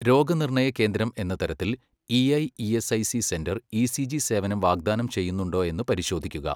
രോഗനിർണയകേന്ദ്രം എന്ന തരത്തിൽ EIESIC centre ECG സേവനം വാഗ്ദാനം ചെയ്യുന്നുണ്ടോയെന്ന് പരിശോധിക്കുക.